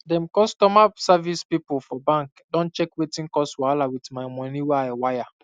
dem customer service pipu for bank don check wetin cause wahala with my money wey i wire